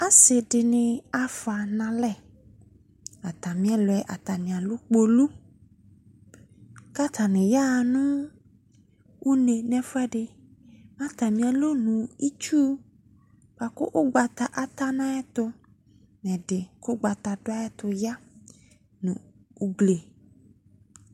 Ase de ne afoa nalɛ Atame ɛluɛ atame alu kpolu ka atane yaha no une no ɛfuɛde Ma atame alɔnu itsu boako ugbata ata no ayɛto no ɛde ko ugbata do ayɛto ya, no ugli